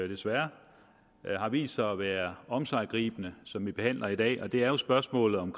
desværre har vist sig at være omsiggribende som vi behandler i dag og det er spørgsmålet om